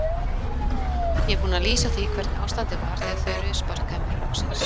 Ég er búinn að lýsa því hvernig ástandið var þegar Þuríður sparkaði mér loksins.